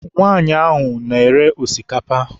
Nwaanyị ahụ na-ere osikapa.